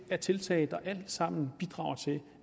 af tiltag der alt sammen bidrager til